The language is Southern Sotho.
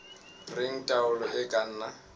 reng taolo e ka nna